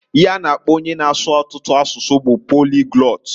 Ihe a na-akpo onye na-asu ọtụtụ asụsụ bu poliglot.